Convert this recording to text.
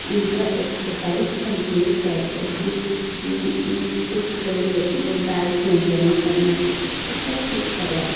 उनका exercise complete करते हैं उम्म-उम्म कुछ लोग डाइट मेंटेन करना चाहते सब कुछ करवा --